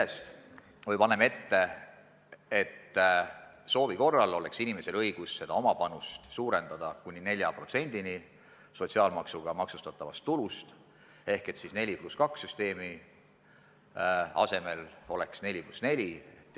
Samuti paneme ette, et soovi korral oleks inimesel õigus oma panust suurendada kuni 4%-ni sotsiaalmaksuga maksustatavast tulust ehk et 4 + 2 süsteemi asemel oleks 4 + 4 süsteem.